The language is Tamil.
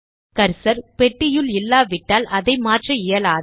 கர்சர் பெட்டியுள் இல்லாவிட்டால் அதை மாற்ற இயலாது